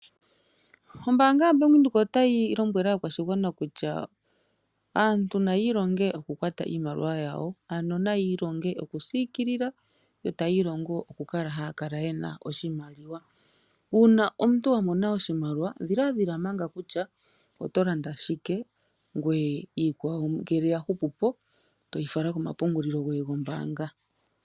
Ombaanga yo Bank Windhoek otayi lombwele aakwashigwana kutya aantu nayi ilonge okukwata iimaliwa yawo. Ano nayi ilonge okusiikilila , yo tayi ilongo okukala haa kala yena oshimaliwa. Uuna omuntu wa mona oshimaliwa, dhiladhila manga kutya oto landa shike ngweye iikwawo ngele ya hupu po toyi fala komapungulilo goye gombaanga.